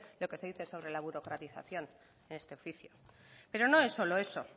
lo que se dice sobre la burocratización en este oficio pero no es solo eso